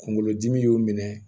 Kunkolodimi y'o minɛ